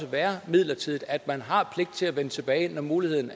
være midlertidigt og at man har pligt til at vende tilbage når muligheden